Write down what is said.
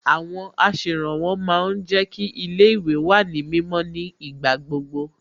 Àwọn aṣèrànwọ́ ma ń jẹ́ kí ilé ìwé wà ní mímọ́ ní ìgbà gbogbo